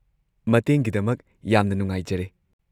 ꯃꯇꯦꯡꯒꯤꯗꯃꯛ ꯌꯥꯝꯅ ꯅꯨꯡꯉꯥꯏꯖꯔꯦ꯫